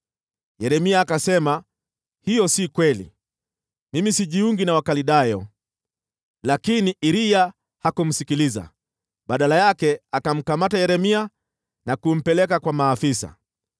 Yeremia akasema, “Hiyo si kweli, mimi sijiungi na Wakaldayo.” Lakini Iriya hakumsikiliza; badala yake, akamkamata Yeremia na kumpeleka kwa maafisa.